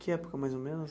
Que época, mais ou menos?